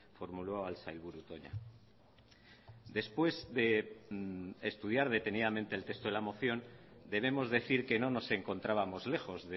formuló al sailburu toña después de estudiar detenidamente el texto de la moción debemos decir que no nos encontrábamos lejos